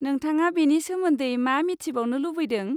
नोंथाङा बेनि सोमोन्दै मा मिथिबावनो लुबैदों?